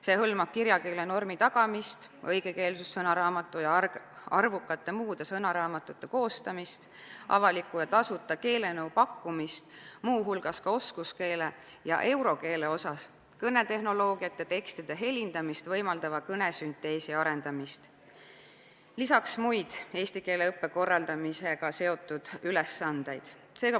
See hõlmab kirjakeele normide täitmise tagamist, õigekeelsussõnaraamatu ja arvukate muude sõnaraamatute koostamist, avalikku tasuta keelenõu pakkumist, muu hulgas oskuskeele ja eurokeele osas, kõnetehnoloogiate, tekstide helindamist võimaldava kõnesünteesi arendamist, lisaks muid eesti keele õppe korraldamisega seotud ülesandeid.